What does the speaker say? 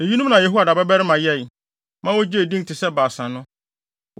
Eyinom na Yehoiada babarima Benaia yɛe, ma ogyee din te sɛ Baasa no.